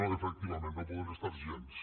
no efectivament no en poden estar gens